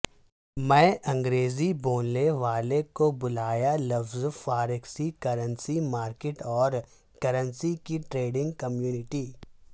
میں انگریزی بولنے والے کو بلایا لفظ فاریکس کرنسی مارکیٹ اور کرنسی کی ٹریڈنگ کمیونٹی